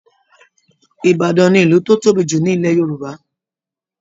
Ìbàdàn ni ìlú tó tóbi jù ní Ilẹ̀ Yorùbá